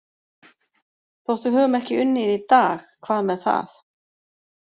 Þótt við höfum ekki unnið í dag, hvað með það?